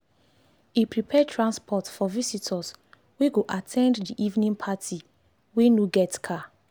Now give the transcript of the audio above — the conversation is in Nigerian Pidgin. e prepare transport for visitors wey go at ten d d evening party wey no get car